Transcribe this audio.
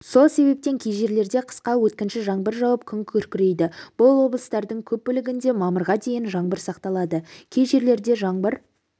сол себептен кей жерлерде қысқа өткінші жаңбыр жауып күн күркірейді бұл облыстардың көп бөлігінде мамырға дейін жаңбыр сақталады кей жерлерде жаңбыр